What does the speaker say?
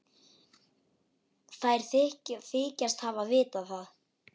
Þær þykjast vita það.